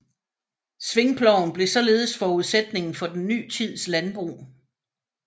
Svingploven blev således forudsætningen for den ny tids landbrug